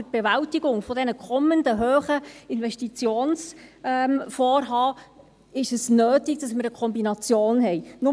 Für die Bewältigung der kommenden hohen Investitionsvorhaben ist es nötig, dass wir eine Kombination haben.